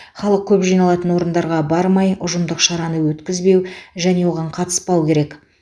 халық көп жиналатын орындарға бармай ұжымдық шараны өткізбеу және оған қатыспау керек